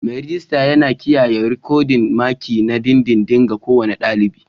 Mai rejista yana kiyaye rikodin maki na dindindin ga kowane ɗalibi.